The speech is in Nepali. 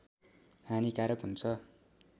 हानिकारक हुन्छ